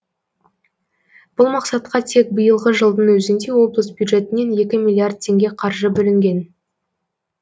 бұл мақсатқа тек биылғы жылдың өзінде облыс бюджетінен екі миллиард теңге қаржы бөлінген